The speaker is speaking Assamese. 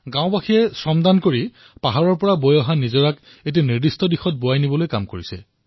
গাঁওবাসীয়ে পাহাৰৰ জুৰিৰ দিশ পৰিৱৰ্তন কৰিবলৈ মূৰৰ ঘাম মাটিত মিহলি কৰিছে